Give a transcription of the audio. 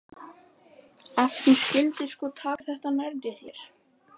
Ef þú skyldir sko taka þetta nærri þér.